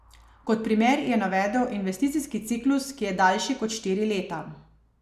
Kot primer je navedel investicijski ciklus, ki je daljši kot štiri leta.